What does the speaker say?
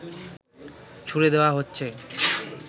ছুড়ে দেওয়া হচ্ছে